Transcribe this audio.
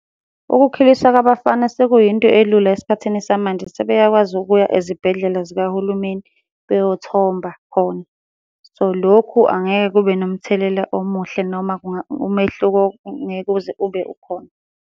Ukukhuliswa kwabafana sekuyinto elula esikhathini samanje sebeyakwazi ukuya ezibhedlela zikahulumeni beyothomba khona. So, lokhu angeke kube nomthelela omuhle noma umehluko ngeke uze ube ukhona.